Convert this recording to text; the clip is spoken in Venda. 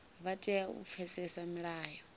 vha tea u pfesesa milayo